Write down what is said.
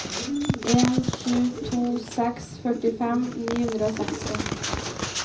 en sju to seks førtifem ni hundre og seksti